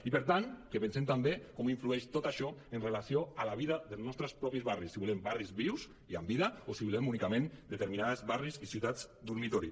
i per tant que pensem també com influeix tot això amb relació a la vida dels nostres propis barris si volem barris vius i amb vida o si volem únicament determi·nats barris i ciutats dormitori